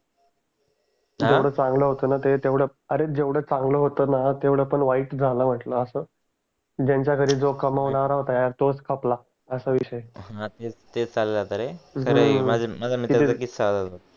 हा जेवड चांगलं होत न ते अरे जेवड चांगलं होते न तेवडपान वाईट गान म्हंटलं आस ज्यांच्या घरी जो कामावणारा होत तोच खपला असा विषय हा तेच माझा एक मित्र होता